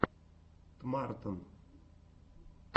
тмартн